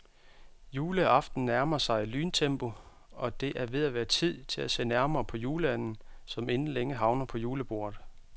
Juleaften nærmer sig i lyntempo, og det er ved at være tid til at se nærmere på juleanden, som inden længe havner på julebordet.